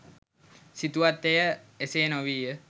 සිතුවත් එය එසේ නොවීය